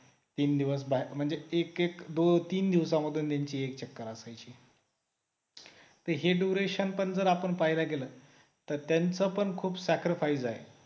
तीन दिवस बाहेर म्हणजे एक एक दोन तीन दिवसांमध्ये त्यांची एक चक्कर असायची हे duration पण जर आपण पाहायला गेलं तर त्यांचा पण खूप sacrifice आहे